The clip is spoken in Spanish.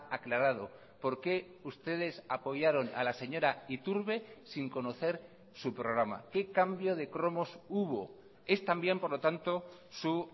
aclarado por qué ustedes apoyaron a la señora iturbe sin conocer su programa qué cambio de cromos hubo es también por lo tanto su